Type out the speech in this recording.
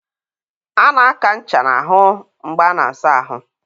a na-aka ncha n'ahụ mgbe a na-asa ahụ.